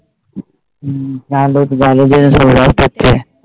হম তাহলে তো ভালো দিনে পাচ্ছে